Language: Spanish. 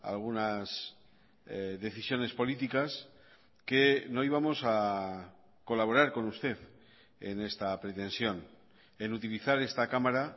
algunas decisiones políticas que no íbamos a colaborar con usted en esta pretensión en utilizar esta cámara